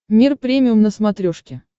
мир премиум на смотрешке